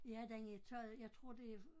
Ja den havde taget jeg tror det